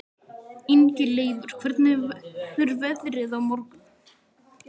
Ingileifur, hvernig verður veðrið á morgun?